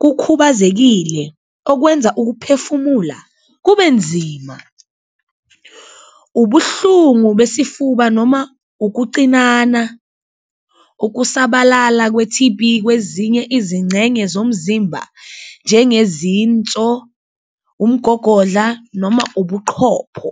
kukhubazekile okwenza ukuphefumula kubenzima, ubuhlungu besifuba noma ukucinana, ukusabalala kwe-T_B kwezinye izincenye zomzimba njengezinso, umgogodla noma ubuqhopho.